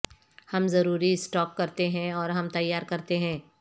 ہم ضروری اسٹاک کرتے ہیں اور ہم تیار کرتے ہیں